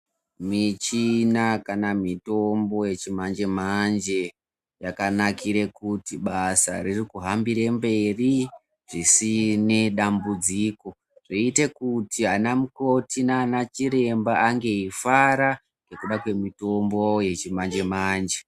Michina kana mitombo yechimanje manje yakanakire kuti basa riri kuhambire mberi zvisine dambudziko zvinoite kuti anamukoti naanachiremba ange eifara nekuda kwemitombo yechimanje manje.